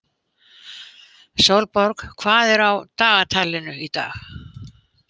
Sólborg, hvað er á dagatalinu í dag?